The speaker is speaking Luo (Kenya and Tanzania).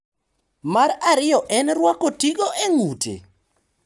Mar ariyo en rwako tigo e ng`ute.